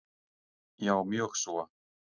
Já mjög svo.